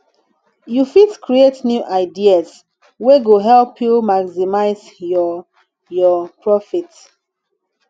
you fit create new ideas wey go help you maximize your your profit